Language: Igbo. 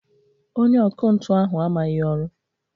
Onye ọkụ ntụ ahụ amaghị ọrụ